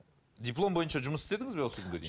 диплом бойынша жұмыс істедіңіз бе осы күнге дейін